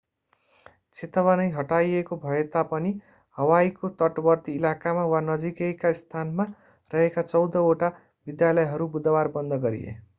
चेतावनी हटाइएको भएता पनि हवाईको तटवर्ती इलाकामा वा नजिकैका स्थानमा रहेका चौधवटा विद्यालयहरू बुधवार बन्द गरिए